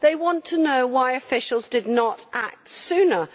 They want to know why officials did not act sooner.